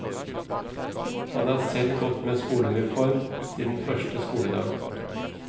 Han har selv gått med skoleuniform siden første skoledag.